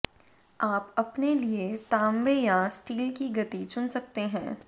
आप अपने लिए तांबे या स्टील की गति चुन सकते हैं